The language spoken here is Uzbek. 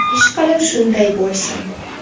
Ishqilib shunday bo‘lsin.